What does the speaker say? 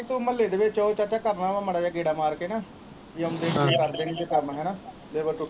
ਮਹੁੱਲੇ ਦੇ ਵਿੱਚ ਚਾਚਾ ਕਰਨਾ ਹੈ ਮਾੜਾ ਜਿਹਾ ਗੇੜਾ ਮਾਰ ਕੇ ਨਾ ਕੰਮ ਹਨਾਂ labor .